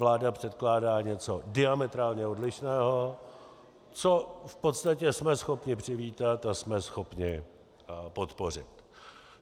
Vláda předkládá něco diametrálně odlišného, co v podstatě jsme schopni přivítat a jsme schopni podpořit.